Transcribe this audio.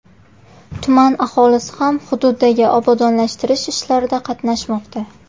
Tuman aholisi ham hududdagi obodonlashtirish ishlarida qatnashmoqda.